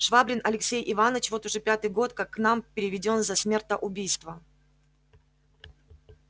швабрин алексей иваныч вот уж пятый год как к нам переведён за смертоубийство